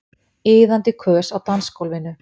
Iðandi kös á dansgólfinu.